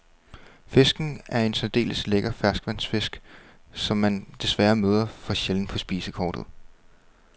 Fisken er en særdeles lækker ferskvandsfisk, som man desværre møder for sjældent på spisekortet.